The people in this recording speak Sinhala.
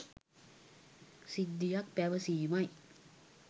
සිද්ධියක් පැවසීමයි.